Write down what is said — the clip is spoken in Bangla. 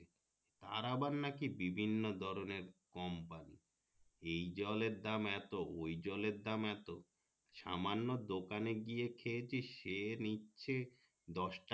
তার আবার নাকি বিভিন্ন ধরণের কোম্পানি এই জলের দাম এতওই জলের দাম এত সামান্য দোকানে গিয়ে খেয়েছি সে নিচ্ছে দশ টাকা